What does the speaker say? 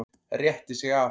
Rétti sig af.